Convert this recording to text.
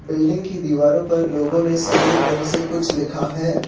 Building की दीवारों पर लोगों ने सफेद रंग से कुछ लिखा है।